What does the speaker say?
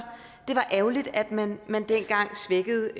ærgerligt at man man dengang svækkede